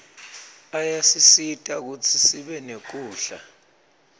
ayasisita kutsi sibe nekudla